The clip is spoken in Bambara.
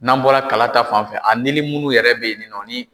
N'an bɔra kala ta fanfɛ a nili munnu yɛrɛ bɛ ye ninnɔ